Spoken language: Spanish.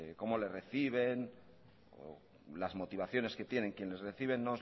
cómo les reciben o las motivaciones que tienen quienes reciben no